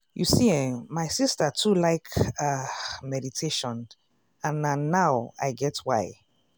you see eh my sister too like ah meditation and na now i get why.